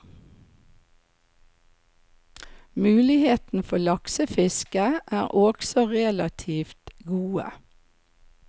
Muligheten for laksefiske er også relativt gode.